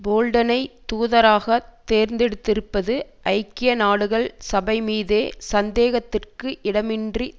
போல்டனை தூதராக தேர்ந்தெடுத்திருப்பது ஐக்கிய நாடுகள் சபை மீதே சந்தேகத்திற்கு இடமின்றி